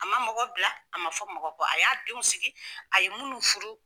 A man mɔgɔ bila a man fɔ mɔgɔ kɔ a y'a denw sigi a ye minnu furu.